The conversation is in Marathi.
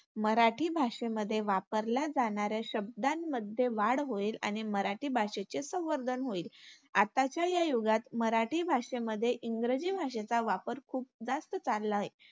मराठी भाषेमध्ये वापरल्या जाणाऱ्या शब्दांमध्ये वाढ होईल आणि मराठी भाषेचे संवर्धन होईल. आताच्या या युगात मराठी भाषेमध्ये इंग्रजी भाषेचा वापर खूप जास्त चालला आहे.